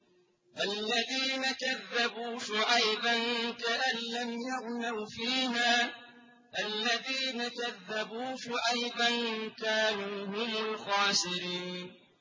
الَّذِينَ كَذَّبُوا شُعَيْبًا كَأَن لَّمْ يَغْنَوْا فِيهَا ۚ الَّذِينَ كَذَّبُوا شُعَيْبًا كَانُوا هُمُ الْخَاسِرِينَ